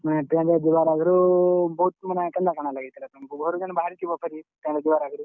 ତୁମେ train ରେ ଯିବାର୍ ଆଗ୍ ରୁ ବହୁତ୍, ମାନେ କେନ୍ତା କାଣା ଲାଗିଥିବା ତମ୍ କୁ, ଘରୁ ଜେନ୍ ବହାରିଥିବ ଫେରି, train ଯିବାର୍ ଆଗ୍ ରୁ।